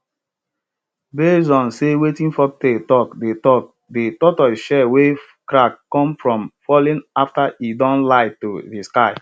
base on sey wetin folklore talk de talk de tortoise shell wey crack come from falling after e don lie to de sky